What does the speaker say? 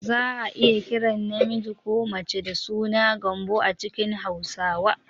Za a iya kiran namiji ko mace da suna "Gambo" a cikin Hausawa